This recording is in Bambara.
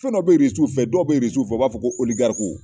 Fɛn dɔ bɛ IRISIW fɛ dɔw bɛ IRISIW fɛ u b'a fɔ ko